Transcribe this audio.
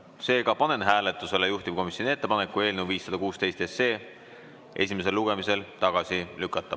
Seega panen hääletusele juhtivkomisjoni ettepaneku eelnõu 516 esimesel lugemisel tagasi lükata.